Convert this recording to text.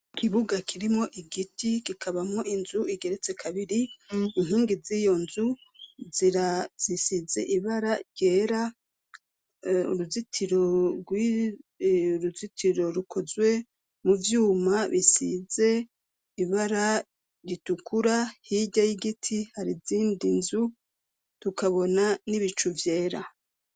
Ikibuga kirimwo igiti, kikabamwo inzu igeretse kabiri inkingi z'iyo nzu zisize ibara ryera, uruzitiro rukozwe mu vyuma bisize ibara ritukura, hirya y'igiti hari izindi nzu, tukabona n'ibicu vyera.